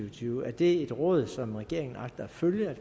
og tyve er det et råd som regeringen agter at følge